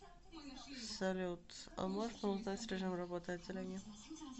салют а можно узнать режим работы отделения